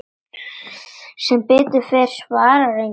Sem betur fer svarar enginn.